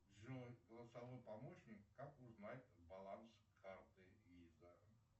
джой голосовой помощник как узнать баланс карты виза